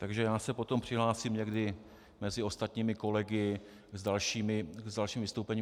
Takže já se potom přihlásím někdy mezi ostatními kolegy s dalším vystoupením.